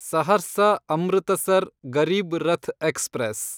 Saharsa Amritsar Garib Rath express